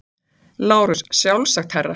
LÁRUS: Sjálfsagt, herra.